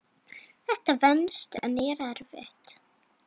Þetta venst en er erfitt.